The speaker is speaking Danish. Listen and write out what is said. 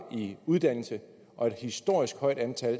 i uddannelse og et historisk højt antal